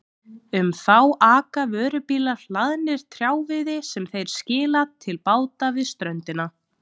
Um þá aka vörubílar hlaðnir trjáviði sem þeir skila til báta við ströndina.